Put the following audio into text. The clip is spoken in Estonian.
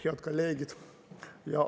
Head kolleegid!